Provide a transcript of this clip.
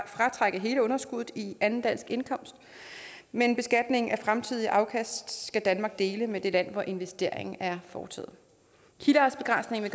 fratrække hele underskuddet i anden dansk indkomst men beskatningen af fremtidige afkast skal danmark dele med det land hvor investeringen er foretaget kildeartsbegrænsningen